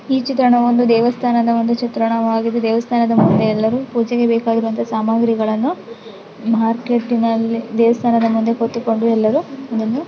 ಈ ಚಿತ್ರಣವು ಒಂದು ದೇವಸ್ಥಾನದ ಒಂದು ಚಿತ್ರಣವಾಗಿದೆ. ದೇವಸ್ಥಾನದ ಮುಂದೆ ಎಲ್ಲರು ಪೂಜೆಗೆ ಬೇಕಾಗಿರುವಂತ ಸಾಮಾಗ್ರಿಗಳನ್ನು ಮಾರ್ಕೆಟ್ ಇನಲ್ಲಿ ದೇವಸ್ಥಾನದ ಮುಂದೆ ಕೂತಿಕೊಂಡು ಎಲ್ಲರೂ ನೀನೇ --